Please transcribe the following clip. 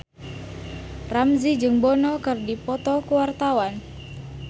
Ramzy jeung Bono keur dipoto ku wartawan